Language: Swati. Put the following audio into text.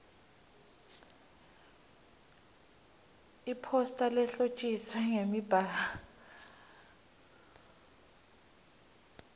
iphosta lehlotjiswe ngemibalabala